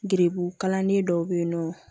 Geribu kalanden dɔw be yen nɔ